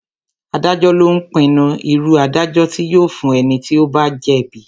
Adájọ́ lo ń pinnu irú ìdájọ́ tí yóò fún ẹni tí ó bá jẹ́ bíi